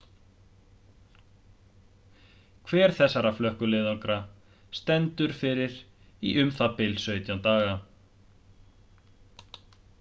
hver þessara flökkuleiðangra stendur yfir í um það bil 17 daga